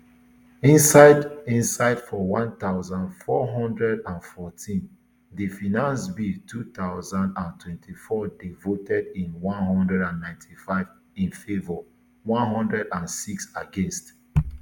inside inside for one thousand, four hundred and fourteen di finance bill two thousand and twenty-four dey voted in one hundred and ninety-five in favour one hundred and six against